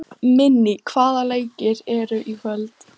Minný, hvaða leikir eru í kvöld?